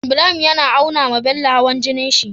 Ibrahim yAna aunawa Bello hawan jinin shi